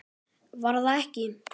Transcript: Var það ekki????